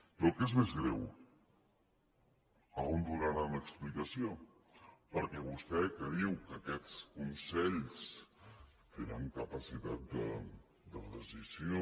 i el que és més greu on donaran explicació perquè vostè que diu que aquests consells tenen capacitat de decisió